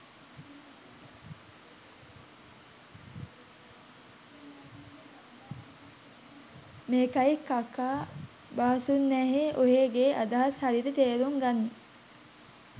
මේකයි කකා බාසුන්නැහේ ඔහේගේ අදහස් හරියට තේරුං ගන්න